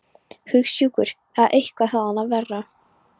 Hugsjúkur eða eitthvað þaðan af verra.